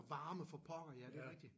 Og varme for pokker! Ja det er rigtig